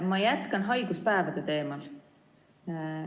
Ma jätkan haiguspäevade teemal.